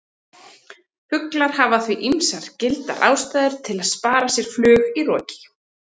Fuglar hafa því ýmsar gildar ástæður til að spara sér flug í roki!